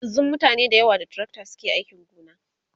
yanzun mutane da yawa da tracta suke ainki gona